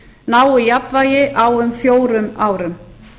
nái jafnvægi á um fjórum árum